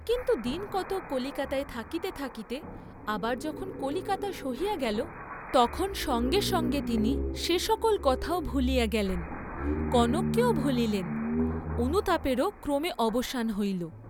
কিন্তু দিন কতক কলিকাতায় থাকিতে থাকিতে আবার যখন কলিকাতা সহিয়া গেল, তখন সঙ্গে সঙ্গে তিনি সে সকল কথাও ভুলিয়া গেলেন, কনককেও ভুলিলেন, অনুতাপেরও ক্রমে অবসান হইল।